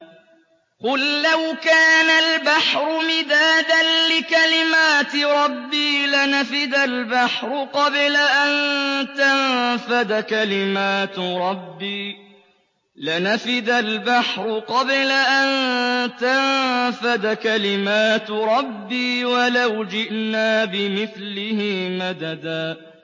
قُل لَّوْ كَانَ الْبَحْرُ مِدَادًا لِّكَلِمَاتِ رَبِّي لَنَفِدَ الْبَحْرُ قَبْلَ أَن تَنفَدَ كَلِمَاتُ رَبِّي وَلَوْ جِئْنَا بِمِثْلِهِ مَدَدًا